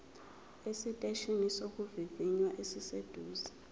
esiteshini sokuvivinya esiseduze